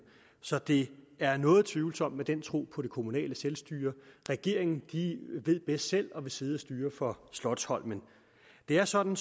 så det er noget tvivlsomt med den tro på det kommunale selvstyre regeringen ved bedst selv og vil sidde og styre fra slotsholmen det er sådan